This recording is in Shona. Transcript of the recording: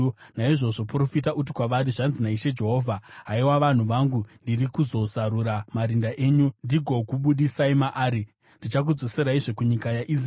Naizvozvo profita uti kwavari, ‘Zvanzi naIshe Jehovha: Haiwa vanhu vangu, ndiri kuzozarura marinda enyu ndigokubudisai maari; ndichakudzoseraizve kunyika yaIsraeri.